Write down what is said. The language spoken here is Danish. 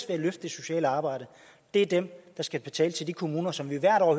ved at løfte det sociale arbejde er dem der skal betale til de kommuner som vi hvert år